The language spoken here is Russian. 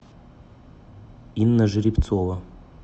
инна жеребцова